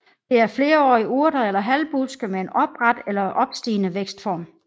Det er flerårige urter eller halvbuske med en opret eller opstigende vækstform